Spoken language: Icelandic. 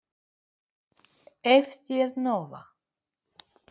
Karen Kjartansdóttir: En hvað átt þú að gera?